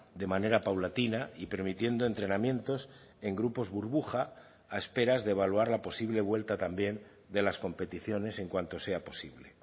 de manera paulatina y permitiendo entrenamientos en grupos burbuja a esperas de evaluar la posible vuelta también de las competiciones en cuanto sea posible